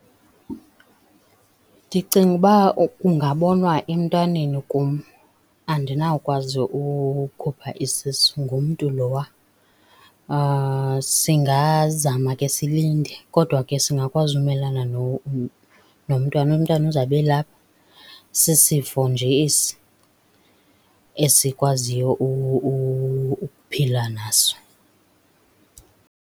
Ndicinga ukuba kungabonwa emntwaneni kum, andinawukwazi ukhupha isisu ngumntu lowa. Singazama ke silinde kodwa ke singakwazi umelana nomntwana. Umntwana uzabe elapha, sisifo nje esi esikwaziyo ukuphila naso.